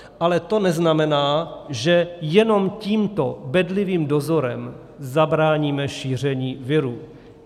Ale to neznamená, že jenom tímto bedlivým dozorem zabráníme šíření viru.